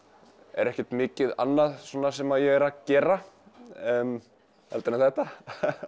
er ekkert mikið annað sem ég er að gera heldur en þetta